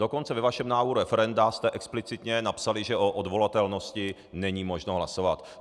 Dokonce ve vašem návrhu referenda jste explicitně napsali, že o odvolatelnosti není možno hlasovat.